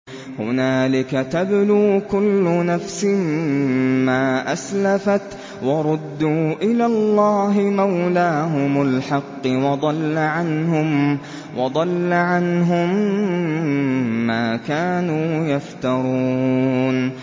هُنَالِكَ تَبْلُو كُلُّ نَفْسٍ مَّا أَسْلَفَتْ ۚ وَرُدُّوا إِلَى اللَّهِ مَوْلَاهُمُ الْحَقِّ ۖ وَضَلَّ عَنْهُم مَّا كَانُوا يَفْتَرُونَ